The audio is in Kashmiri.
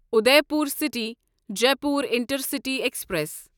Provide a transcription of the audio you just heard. Udaipur city Jaipur intercity express